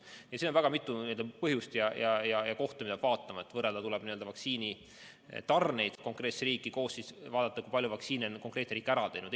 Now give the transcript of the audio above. Nii et siin on väga palju põhjusi ja kohti, mida peab arvestama, et võrrelda vaktsiinitarneid konkreetsetesse riikidesse ja ka vaadata, kui palju vaktsiine on üks või teine riik ära kasutanud.